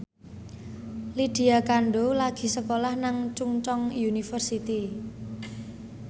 Lydia Kandou lagi sekolah nang Chungceong University